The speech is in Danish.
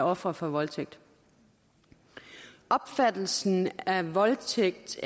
ofre for voldtægt opfattelsen af voldtægt